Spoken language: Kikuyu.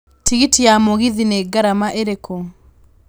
Tigiti ya mũgithi nĩ ngarama ĩrĩkũ